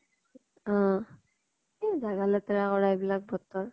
অহ এ জাগা লেতেৰা কৰা এইবিলাক বতৰ।